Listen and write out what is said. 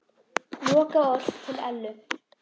Lokaorð til Ellu.